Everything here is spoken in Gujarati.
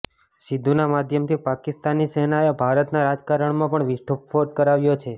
સિદ્ધુના માધ્યમથી પાકિસ્તાની સેનાએ ભારતના રાજકારણમાં પણ વિસ્ફોટ કરાવ્યો છે